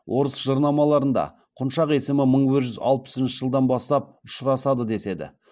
орыс жырнамаларында құншақ есімі мың бір жүз алпысыншы жылдан бастап ұшырасады деседі